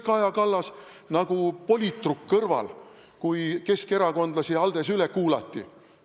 Miks oli Kaja Kallas nagu politruk kõrval, kui keskerakondlasi ALDE-s üle kuulati?